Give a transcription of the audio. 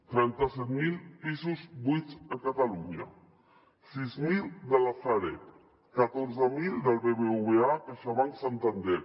trenta set mil pisos buits a catalunya sis mil de la sareb catorze mil del bbva caixabank santander